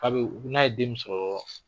K'a be n'a ye den min sɔrɔ